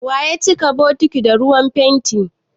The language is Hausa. Wa ya cika bokitin da ruwan fenti?